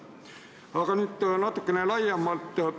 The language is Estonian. Aga nüüd natukene laiemalt.